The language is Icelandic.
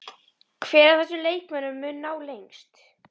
Hver af þessum leikmönnum mun ná lengst?